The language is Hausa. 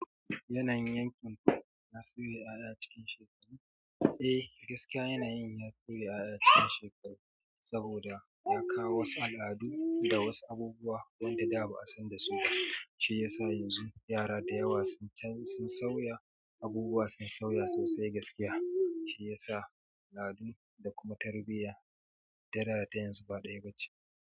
Yanayin yankin ku ya sauya ya ya cikin shekaru? Eh, gaskiya yanayin ya sauya ƴaƴa cikin shekaru, saboda ya kawo wasu al'adu da wasu abubuwa wanda da ba'a san da su ba, shi ya sa yanzu yara da yawa sun can-sun sauya, abubuwa sun sauya sosai gaskiya. Shi ya sa al'adu da kuma tarbiyya, ta da da ta yanzu ba ɗaya bace.